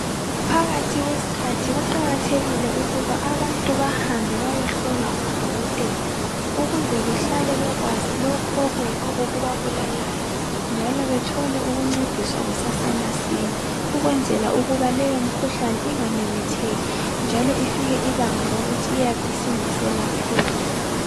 Phakathi kwesikhathi kuqakathekile ukuba abantu bahambe bayohlolwa ngodokotela ukuze behlale bekwazi lokhu okuyikho okubabulalayo njalo bethole ukungcediswa kusase masinya ukwenzela ukuba leyo mkhuhlani ingamemetheki njalo ifike ibanga lokuthi iyabe ingaselapheki.